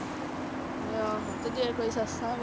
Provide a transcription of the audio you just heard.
ਆਹੋ, ਤੇ ਜੇ ਕੋਈ ਸੱਸਾਂ ਵੀ।